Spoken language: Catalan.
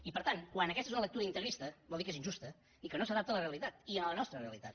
i per tant quan aquesta és una lectura integrista vol dir que és injusta i que no s’adapta a la realitat i a la nostra realitat